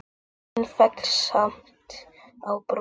Myndin féll samt á borðið.